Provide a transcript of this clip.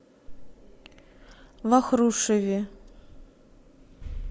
вахрушеве